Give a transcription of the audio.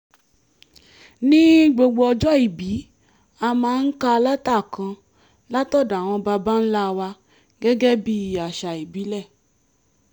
ní gbogbo ọjọ́ ìbí a máa ń ka lẹ́tà kan látọ̀dọ̀ àwọn baba ńlá wa gẹ́gẹ́ bí àṣà ìbílẹ̀